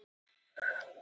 Hvaða máli skiptir það?